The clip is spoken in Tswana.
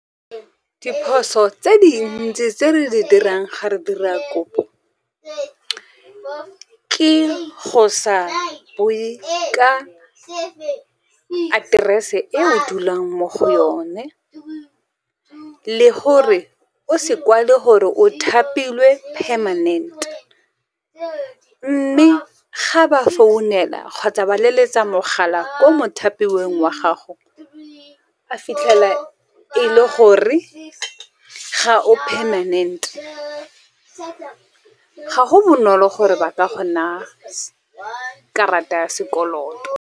Diphoso tse dintsi tse re di dirang ga re dira kopo, ke go sa bue ka aterese e o dulang mo go yone, le gore o se kwale gore o thapilwe permanent. Mme ga ba founela kgotsa ba leletsa mogala ko mo thapilweng wa gago, ba fitlhela e le gore ga o permanent. Ga go bonolo gore ba ka go naya karata ya sekoloto.